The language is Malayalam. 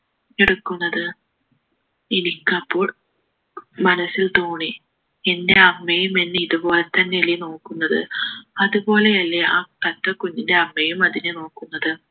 എടുക്കുന്നത് എനിക്കപ്പോൾ മനസ്സിൽ തോന്നി എൻ്റെ അമ്മയും എന്നെ ഇതുപോലെ തന്നെയല്ലേ നോക്കുന്നത് അതുപോലെയല്ലേ ആ തത്ത കുഞ്ഞിൻ്റെ അമ്മയും അതിനെ നോക്കുന്നത്